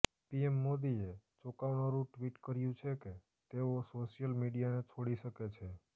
PM મોદીએ ચોંકાવનારું tweet કર્યું છે કે તેઓ સોશિયલ મીડિયાને છોડી શકે છે